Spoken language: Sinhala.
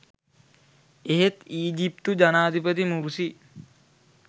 එහෙත් ඊජිප්තු ජනාධිපති මුර්සි